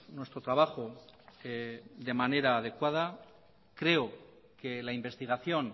nuestro trabajo de manera adecuada creo que la investigación